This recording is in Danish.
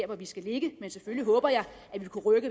hvor vi skal ligge men selvfølgelig håber jeg at vi kunne rykke